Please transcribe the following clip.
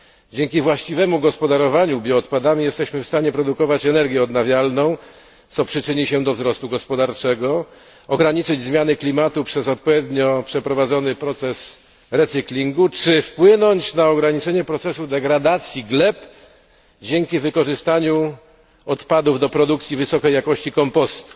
Dzięki właściwemu gospodarowaniu bioodpadami jesteśmy w stanie produkować energię odnawialną, co przyczyni się do wzrostu gospodarczego, ograniczyć zmiany klimatu przez odpowiednio przeprowadzony proces recyklingu czy wpłynąć na ograniczenie procesu degradacji gleb dzięki wykorzystaniu odpadów do produkcji wysokiej jakości kompostu.